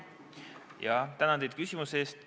Tänan teid küsimuse eest!